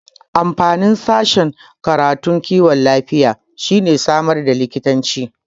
Amfanin sashen karatun kiwon lafiya shine samar da likitoci